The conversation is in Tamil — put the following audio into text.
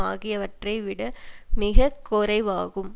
ஆகியவற்றை விட மிக குறைவாகும்